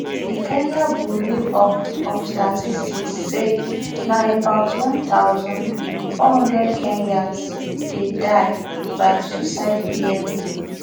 di kenya bureau of of statistics say na about one thousand, four hundred kenyans dey die by suicide yearly